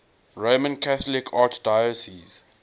roman catholic archdiocese